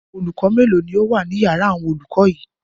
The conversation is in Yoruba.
Olùkọ́ mélòó ni ó wà ní ìyàrá àwọn olùkọ́ yìí?